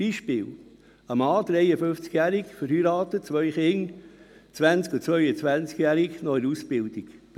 Zum Beispiel: Ein Mann, 53-jährig, verheiratet, zwei Kinder im Alter von 20 und 22 Jahren, die noch in der Ausbildung sind;